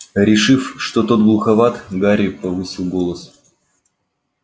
решив что тот глуховат гарри повысил голос